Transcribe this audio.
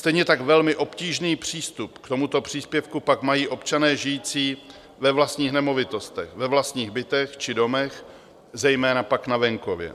Stejně tak velmi obtížný přístup k tomuto příspěvku pak mají občané žijící ve vlastních nemovitostech, ve vlastních bytech či domech, zejména pak na venkově,